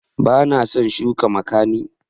Bana zan shuka makani